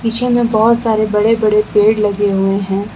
पीछे में बहोत सारे बड़े बड़े पेड़ लगे हुए हैं।